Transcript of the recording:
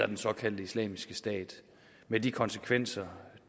den såkaldte islamiske stat med de konsekvenser